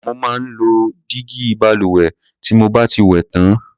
Mo máa ń lo dígí balùwẹ̀ tí mo bá ti wẹ̀ tán.